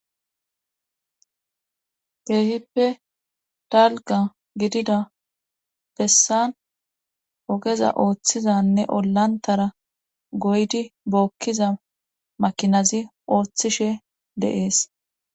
Keehippe Dalqa gidida bessan ogeza ooththizanne olantara goydi bookkiza makinazi ooththishe dees.